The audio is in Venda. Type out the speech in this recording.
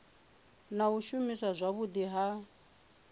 na u shumiswa zwavhudi ha